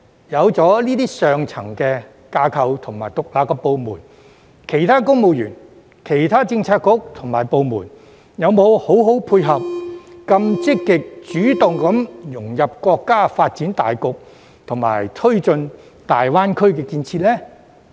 有了這些上層架構及獨立部門，其他公務員、政策局及部門有否好好配合，以便更積極主動地融入國家發展大局，以及推進大灣區建設呢？